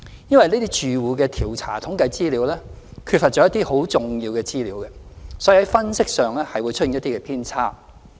由於這些住戶調查統計缺乏一些很重要的資料，所以在分析上會出現一些偏差。